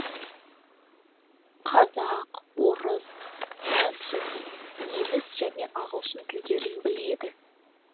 қазақ орыс француз неміс және ағылшын тілдерін біледі